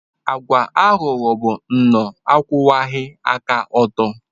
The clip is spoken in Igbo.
Ịwa aghụghọ bụ nnọọ akwụwaghị aka ọtọ.